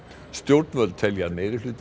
stjórnvöld telja að meirihluti